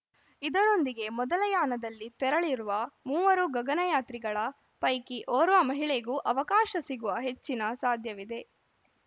ಇದರೊಂದಿಗೆ ಮೊದಲ ಯಾನದಲ್ಲಿ ತೆರಳಿರುವ ಮೂವರು ಗಗನಯಾತ್ರಿಗಳ ಪೈಕಿ ಓರ್ವ ಮಹಿಳೆಗೂ ಅವಕಾಶ ಸಿಗುವ ಹೆಚ್ಚಿನ ಸಾಧ್ಯವಿದೆ